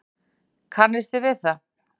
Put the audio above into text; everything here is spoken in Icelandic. Kannisti við það!